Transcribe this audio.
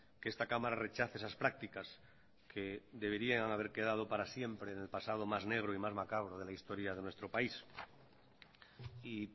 que esta cámara rechace esas prácticas que deberían haber quedado para siempre en el pasado más negro y más macabro de la historia de nuestro país y